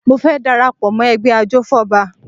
Mo fẹ́ dara pọ̀ mọ́ ẹgbẹ́ ajòfọ́ba